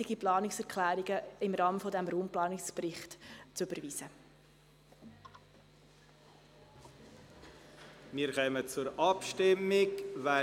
Ergänzung: 1. Die Ausnahmen gemäss GSchV. Art. 41a, Abs. 5, Bst a.–d.